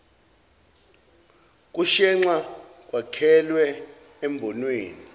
kushenxa kwakhelwe embonweni